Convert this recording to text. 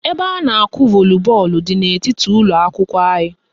Ebe a na-akụ volibọọlụ dị n'etiti ụlọakwụkwọ anyị